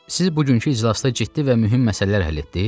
Siz bugünkü iclasda ciddi və mühüm məsələlər həll etdiniz?